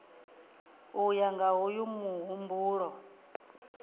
u ya nga hoyu muhumbulo